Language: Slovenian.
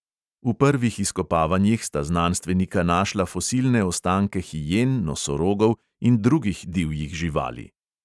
V prvih izkopavanjih sta znanstvenika našla fosilne ostanke hijen, nosorogov in drugih divjih živali.